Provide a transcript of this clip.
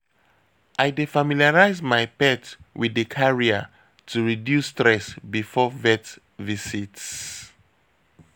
I dey familiarize my pet with di carrier to reduce stress before vet visits.